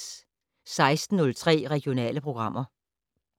16:03: Regionale programmer